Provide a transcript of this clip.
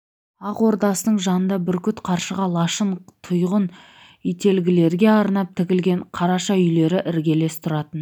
ақ ордасының жанында бүркіт қаршыға лашын тұйғын ителгілерге арнап тігілген қараша үйлері іргелес тұратын